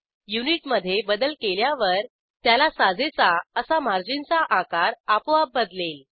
unit मधे बदल केल्यावर त्याला साजेसा असा मार्जिनचा आकार आपोआप बदलेल